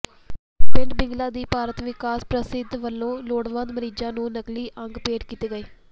ਪਿੰਡ ਬਿਲਗਾ ਦੀ ਭਾਰਤ ਵਿਕਾਸ ਪ੍ਰੀਸ਼ਦ ਵਲੋਂ ਲੋੜਵੰਦ ਮਰੀਜ਼ਾਂ ਨੂੰ ਨਕਲੀ ਅੰਗ ਭੇਟ ਕੀਤੇ ਗਏ